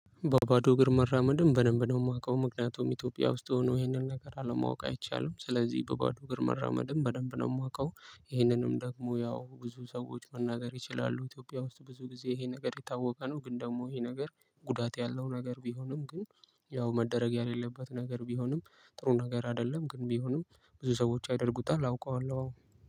በባዶ እግር መራመድም በደንብ ደግሞ የማውቀው ምክንያቱም ኢትዮጵያ ውስጥ ሆኖ ይሄንን ነገር አለማወቅ አይቻለሁ ስለዚህ በባዶ እግር መራመድም በደንብ ነው የማውቀው። ይህንንም ደግሞ ያው ብዙ ሰዎች መናገር ይችላሉ ኢትዮጵያ ውስጥ ብዙ ጊዜ ይሄ ነገር የታወቀ ነው። ግን ደግሞ ይሄ ነገር ጉዳት ያለው ነገር ቢሆንም ግን ያው መደረግ የሌለበት ነገር ቢሆንም ጥሩ ነገር አይደለም ግን ቢሆንም ብዙ ሰዎች ያደርጉታል አውቀዋለሁ። አዎ